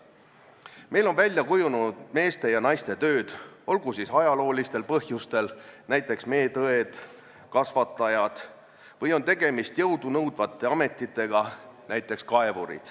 Meil on välja kujunenud meeste ja naiste tööd, olgu siis ajaloolistel põhjustel või on tegemist jõudu nõudvate ametitega .